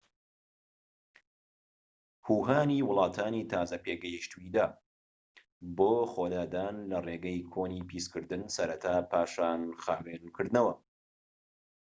هو هانی وڵاتانی تازە پێگەشتووی دا بۆ خۆلادان لە ڕێگەی کۆنی پیسکردن سەرەتا پاشان خاوێنکردنەوە